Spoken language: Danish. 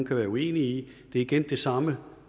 kan være uenig i er igen den samme